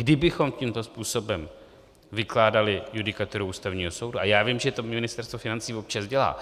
Kdybychom tímto způsobem vykládali judikaturu Ústavního soudu, a já vím, že to Ministerstvo financí občas dělá,